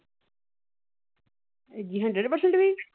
ਹਾਂਜੀ hundred percent ਵੀ।